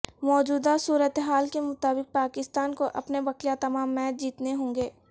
موجودہ صورتحال کے مطابق پاکستان کو اپنے بقیہ تمام میچ جیتنے ہوں گے